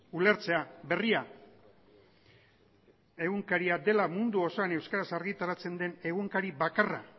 ulertzea berria egunkaria dela mundu osoan euskaraz argitaratzen den egunkari bakarra